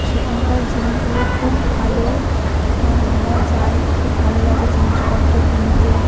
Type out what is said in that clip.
সেখানকার জিনিসগুলো খুব ভালো এবং আমরা যাই খুব ভালো লাগে জিনিসপত্র কিনতে ।